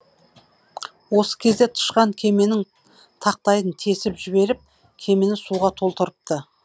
осы кезде тышқан кеменің тақтайын тесіп жіберіп кемені суға толтырыпты